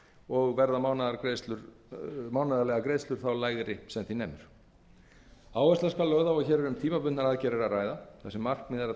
og verða mánaðarlegar greiðslur þá lægri sem því nemur áhersla skal lögð á að hér er um tímabundnar aðgerðir að ræða þar sem markmiðið er að